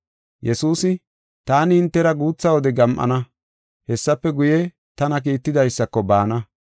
Yesuusi, “Taani hintera guutha wode gam7ana; hessafe guye tana kiittidaysako baana.